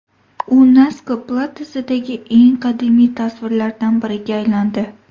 U Naska platosidagi eng qadimiy tasvirlardan biriga aylandi.